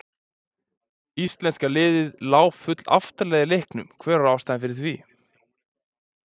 Íslenska liðið lá full aftarlega í leiknum, hver var ástæðan fyrir því?